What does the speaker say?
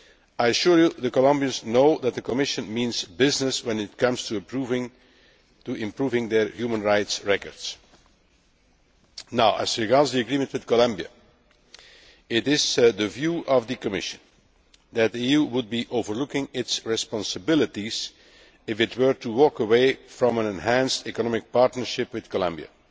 I assure you the Colombians know that the Commission means business when it comes to approving their human rights record. Now as regards the agreement with Colombia, it is the view of the Commission that the EU would be overlooking its responsibilities if it were to walk away from an enhanced economic partnership with Colombia.